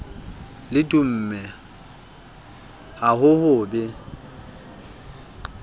le dumme ha ho be